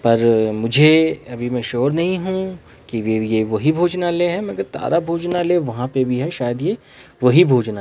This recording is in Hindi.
पर मुझे अभी मैं श्योर नहीं हु की ये वही भोजनालय है मगर तारा भोजनालय वहां पे भी है शायद ये वही भोजनालय है।